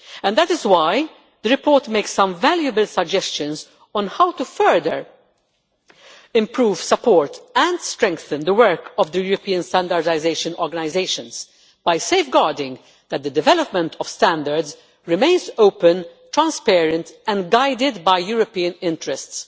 That is why the report makes some valuable suggestions on how to further improve, support and strengthen the work of the European standardisation organisations, by safeguarding that the development of standards remains open, transparent and guided by European interests.